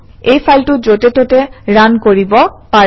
এই ফাইলটো যতে ততে ৰান কৰিব পাৰে